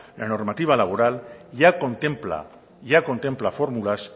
la normativa laboral ya contempla formulas